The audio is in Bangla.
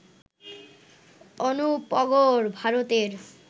অনুপগড়, ভারতের